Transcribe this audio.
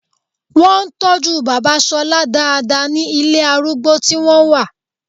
Wọ́n ń tọ́jú bàbá Ṣọlá dáadáa ní ilé arúgbó tí wọ́n wà